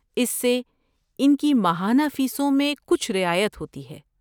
اس سے ان کی ماہانہ فیسوں میں کچھ رعایت ہوتی ہے۔